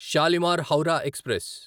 Shalimar Howrah express